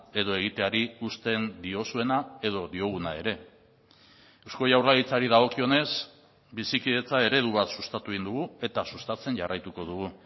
edo egiteari uzten diozuena edo dioguna ere eusko jaurlaritzari dagokionez bizikidetza eredu bat sustatu egin dugu eta sustatzen jarraituko dugu